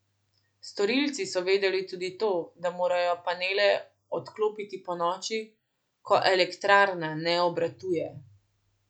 Storilci so vedeli tudi to, da morajo panele odklopiti ponoči, ko elektrarna ne obratuje.